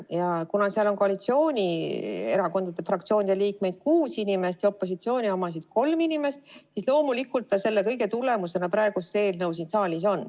Aga kuna komisjonis on koalitsioonierakondade fraktsioonide liikmeid kuus ja opositsiooni omasid neli, siis loomulikult selle kõige tulemusena on praegu see eelnõu siin saalis.